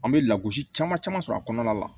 An bɛ lagosi caman caman sɔrɔ a kɔnɔna la